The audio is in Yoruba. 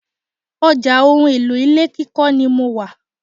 Ọjà ohun èlò ilé kíkọ́ ni mo wà.